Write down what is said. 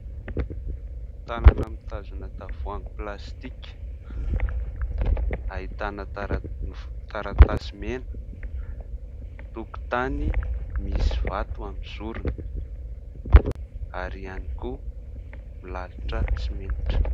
Tanana mitazona tavoahangy plastika ahitana taratasy mena. Tokotany misy vato amin'ny zorony ary ihany koa milalotra simenitra.